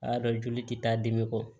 A y'a dɔn joli tɛ taa dimi kɔ